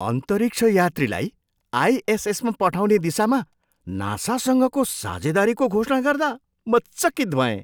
अन्तरिक्ष यात्रीलाई आइएसएसमा पठाउने दिशामा नासासँगको साझेदारीको घोषणा गर्दा म चकित भएँ!